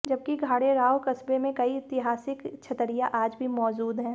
जबकि घाणेराव कस्बे में कई ऐतिहासिक छतरिया आज भी मौजुद है